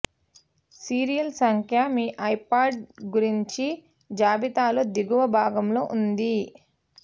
serial సంఖ్య మీ iPad గురించి జాబితాలో దిగువ భాగంలో ఉంది